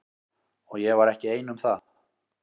Og ég var ekki ein um það.